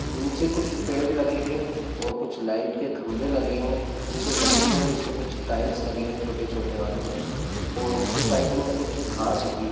नीचे कुछ पेड़ लगे हैं और कुछ लाइट के ख़म्भे लगे हैं। नीचे जमीन है जिसपे कुछ टाइल्स लगे हैं छोटे-छोटे वाले और उसके साइड मे कुछ घास उगी ।